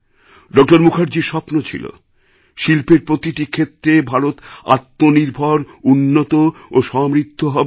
ড মুখার্জির স্বপ্ন ছিল শিল্পের প্রতিটি ক্ষেত্রে ভারত আত্মনির্ভর উন্নত ও সমৃদ্ধ হবে